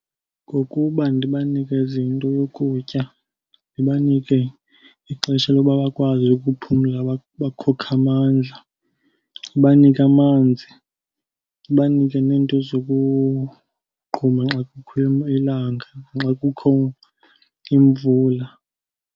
Ngokuba ndibanikeze into yokutya. Ndibanike ixesha loba bakwazi ukuphumla, bakhokhe amandla. Ndibanike amanzi, ndibanike neento zokugquma xa kukho ilanga naxa kukho imvula.